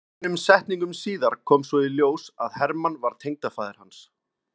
Fáeinum setningum síðar kom svo í ljós að Hermann var tengdafaðir hans.